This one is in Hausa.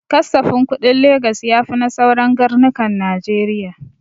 Kasafin kuɗin Legas ya fi na sauran garnukan najeriya